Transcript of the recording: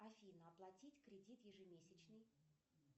афина оплатить кредит ежемесячный